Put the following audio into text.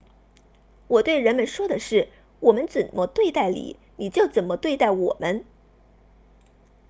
我对人们说的是我们怎么对待你你就怎么对待我们